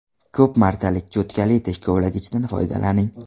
Ko‘p martalik cho‘tkali tish kovlagichdan foydalaning.